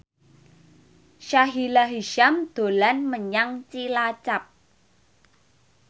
Sahila Hisyam dolan menyang Cilacap